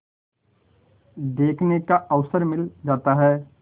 देखने का अवसर मिल जाता है